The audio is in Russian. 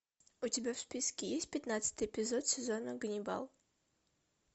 у тебя в списке есть пятнадцатый эпизод сезона ганнибал